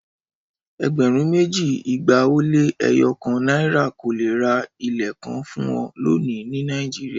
Ẹgbẹ̀rún méjì, igba ó lé ẹyọ kan naira kò lè ra ilẹ̀ kan fún ọ lónìí ní Nàìjíríà.